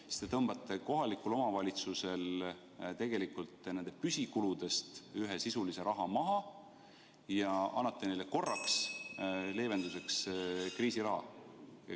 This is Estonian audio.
Te tegelikult tõmbate kohalikel omavalitsustel nende püsikuludest ühe sisulise raha maha ja annate neile korraks leevenduseks kriisiraha.